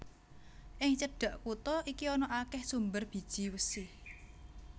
Ing cedhak kutha iki ana akèh sumber bijih wesi